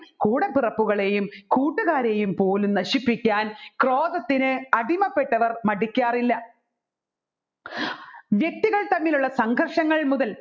കൂടപ്പിറപ്പുകളെയും കൂട്ടുകാരെയും പോലും നശിപ്പിക്കാൻ ക്രോധത്തിന് അടിമപെട്ടവർ മടിക്കാറില്ല വ്യക്തികൾ തമ്മിലുള്ള സംഘർഷങ്ങൾ മുതൽ